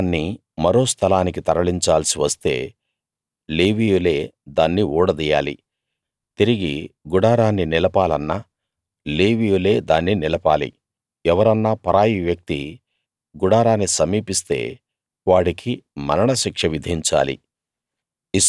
గుడారాన్ని మరో స్థలానికి తరలించాల్సి వస్తే లేవీయులే దాన్ని ఊడదీయాలి తిరిగి గుడారాన్ని నిలపాలన్నా లేవీయులే దాన్ని నిలపాలి ఎవరన్నా పరాయి వ్యక్తి గుడారాన్ని సమీపిస్తే వాడికి మరణ శిక్ష విధించాలి